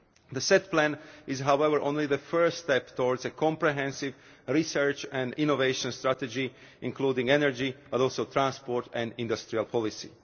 The SET Plan is, however, only the first step towards a comprehensive research and innovation strategy, including energy, but also transport and industrial policy.